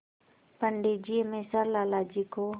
पंडित जी हमेशा लाला जी को